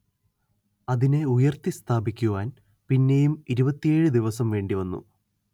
അതിനെ ഉയർത്തി സ്ഥാപിക്കുവാൻ പിന്നെയും ഇരുപത്തിയേഴ് ദിവസം വേണ്ടിവന്നു